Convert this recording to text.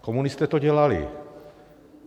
Komunisté to dělali.